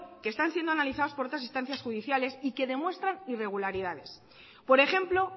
que están siendo analizados por otras instancias judiciales y que demuestran irregularidades por ejemplo